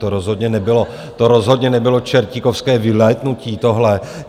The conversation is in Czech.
To rozhodně nebylo, to rozhodně nebylo čertíkovské vylétnutí, tohle.